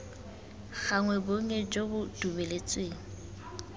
gagwe bonnye jo bo dumeletsweng